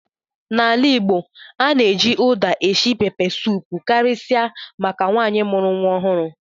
N'ala Igbo, a na-eji Uda esi pepesụpụ karịsịa maka nwaanyị mụrụ nwa ọhụrụ.